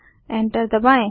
enter दबाएँ